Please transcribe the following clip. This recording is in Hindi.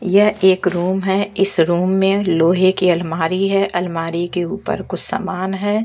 यह एक रूम है इस रूम में लोहे की अलमारी है अलमारी के ऊपर कुछ सामान है।